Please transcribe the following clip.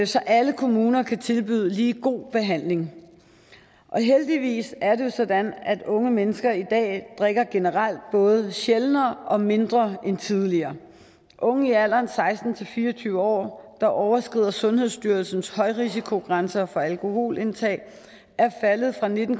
så alle kommuner kan tilbyde en lige god behandling og heldigvis er det jo sådan at unge mennesker i dag drikker generelt både sjældnere og mindre end tidligere unge i alderen seksten til fire og tyve år der overskrider sundhedsstyrelsens højrisikogrænser for alkoholindtag er faldet fra nitten